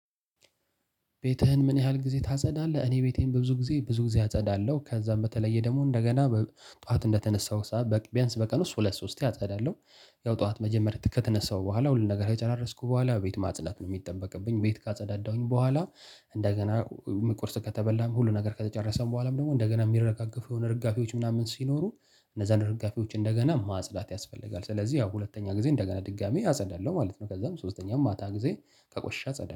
ቤትህን ምን ያህል ጊዜ ታጸዳለህ? እኔ ቤቴን በብዙ ጊዜ ብዙ ጊዜ አጸዳለሁ ከዛም በተለየ ደግሞ እንደገና ጠዋት እንደተነሳው ቢያንስ በቀን ውስጥ ሁለት ሶስቴ አጸዳለሁ። ያው ጠዋት መጀመሪያ ከተነሳው በኋላ ሁሉን ነገር ከጨራረስኩ በኋላ ቤት ማጽድት ነው የሚጠበቅብኝ ቤት ካጸዳዳሁኝ በኋላ። እንደገና ቁርስ ከተበላም ሁሉ ነገር ከተጨረሰም በኋላም ደግሞ እንደገና የሚረጋገፉ የሆነ እርጋፊዎች ምናምን ሲኖሩ እነዛን እርጋፊዎች እንደገና ማጽዳት ያስፈልጋል። ስለዚህ ያው ሁለተኛ ጊዜ እንደገና ድጋሚ አጸዳለሁ ማለት ነው። ከዛም ሶስተኛው ማታ ጊዜ ቆሸሸ አጸዳለሁ